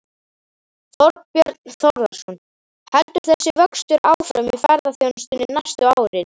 Þorbjörn Þórðarson: Heldur þessi vöxtur áfram í ferðaþjónustunni næstu árin?